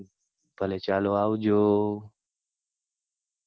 ભલે ચાલો, આવજો.